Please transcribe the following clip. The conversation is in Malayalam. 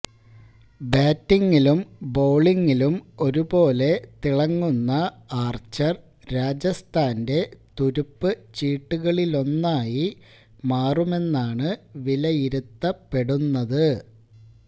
ബാറ്റിങിലും ബൌളിങിലും ഒരുപോലെ തിളങ്ങുന്ന ആര്ച്ചര് രാജസ്ഥാന്റെ തുറുപ്പുചീട്ടുകളിലൊന്നായി മാറുമെന്നാണ് വിലയിരുത്തപ്പെടുന്നത്